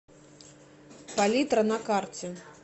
палитра на карте